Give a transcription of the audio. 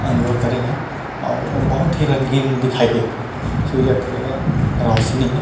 अंजोर करे हे और बहुत ही रंगीन दिखाई देत हे सूर्य के रोशनी मे--